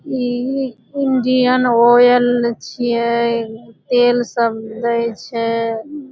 इ Indian oil छीये तेल सब देए छै।